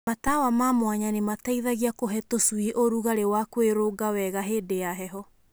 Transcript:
Matawa ma mwanya nĩ mateithagia kũhe tũcui ũrugarĩ na kwĩrũnga wega hĩndĩ ya heho.